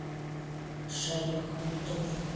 шаяхметову